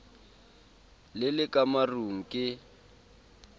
le le ka marung ke